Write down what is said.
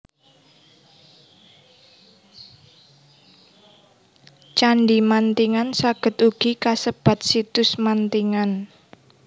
Candhi Mantingan saged ugi kasebat Situs Mantingan